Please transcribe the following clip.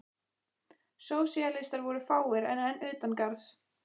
Sósíalistar voru fáir og enn utan garðs.